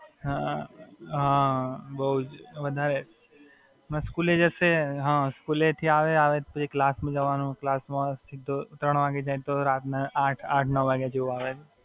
હાં, બઉ જ વધારે. હમણાં સ્કૂલે જશે, સ્કૂલેથી આવે, આવે પછી ક્લાસ માં જવાનું, ક્લાસ સીધો ત્રણ વાગે જાય અને રાતના આઠ-નવ વાગ્યા જેવુ આવે